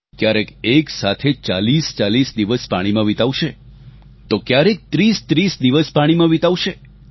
ક્યારેક એક સાથે 4040 દિવસ પાણીમાં વિતાવશે તો ક્યારેક 3030 દિવસ પાણીમાં વિતાવશે